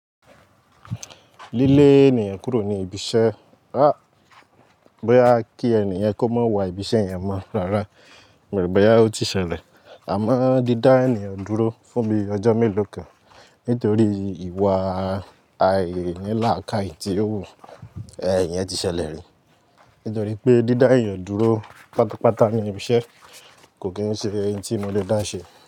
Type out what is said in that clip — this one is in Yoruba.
Lílè ènìyàn kúrò ní ibi iṣẹ́. Aáh, bóyá kí ènìyàn kó má wà ibi iṣẹ́ yẹn mọ́ rárá, mo o rò pé bóyá ó ti ṣẹlẹ̀. Àmọ́ dídá ènìyàn dúró fún bíi ọjọ́ mélòó kan nítorí ìwà àìní lákaì tí ó wù, ẹ́n, iyẹn ti ṣẹlẹ̀ rí. Nítorí pé dídá èèyàn dúró pátápátá ní ibi iṣẹ́, kò kì ń ṣe ohun tí mo lè dá ṣe.